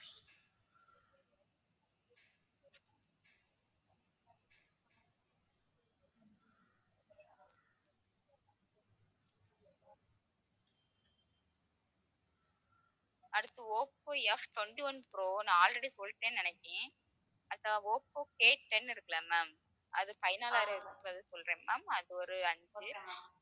அடுத்து Oppo Ftwenty-one pro நான் already சொல்லிட்டேன்னு நினைச்சேன் அதான் ஓப்போ Aten இருக்கில்ல ma'am அது சொல்றேன் ma'am அது ஒரு அஞ்சு